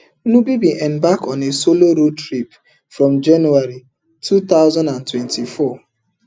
nubi bin embark on a solo road trip from january two thousand and twenty-four